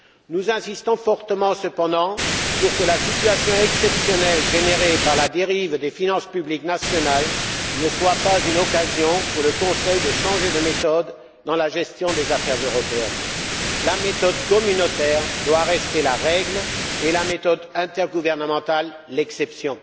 Nous insistons fortement cependant pour que la situation exceptionnelle générée par la dérive des finances publiques nationales ne soit pas une occasion, pour le Conseil, de changer de méthode dans la gestion des affaires européennes. La méthode communautaire doit rester la règle et la méthode intergouvernementale l'exception.